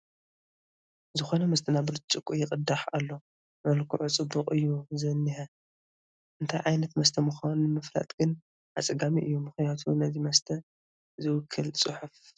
ዝኾነ መስተ ናብ ብርጭቖ ይቕዳሕ ኣሎ፡፡ መልክዑ ፅቡቕ እዩ ዝኒሀ፡፡ እንታይ ዓይነት መስተ ምዃኑ ንምፍላጥ ግን ኣፀጋሚ እዩ፡፡ ምኽንያቱ ነዚ መስተ ዝውክል ፅሑፍ ኣይረአናን፡፡